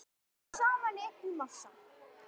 Unnið saman í einn massa.